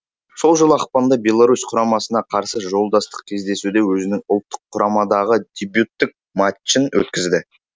сол жылы ақпанда беларусь құрамасына қарсы жолдастық кездесуде өзінің ұлттыққұрамадағы дебюттік матчын өткізді